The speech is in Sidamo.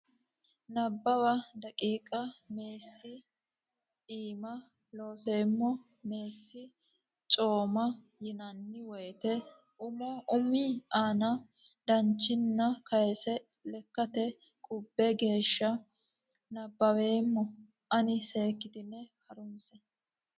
Nabbawa daqiiqa Meessi Co imma Looseemmo Meessi co imma yinanni woyte umu ani dananchinni kayse lekkate qubbe geeshsha nabbaweemma ona seekkitine ha runse.